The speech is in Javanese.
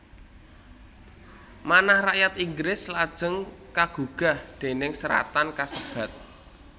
Manah rakyat Inggris lajeng kagugah déning seratan kasebat